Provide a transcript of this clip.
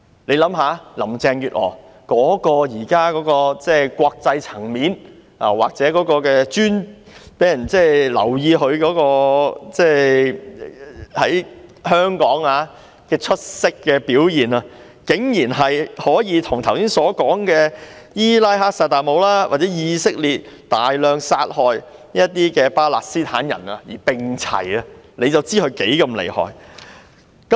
大家想一想，林鄭月娥現在的國際層面，或她在香港令人留意到的出色表現，竟然可以跟剛才提到的伊拉克薩達姆或以色列大量殺害巴勒斯坦人的事件看齊，可想而知她有多麼的厲害。